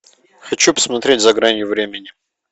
хочу посмотреть за гранью времени